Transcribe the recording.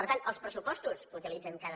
per tant els pressupostos que utilitzen cada